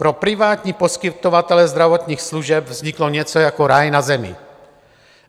Pro privátní poskytovatele zdravotních služeb vzniklo něco jako ráj na zemi.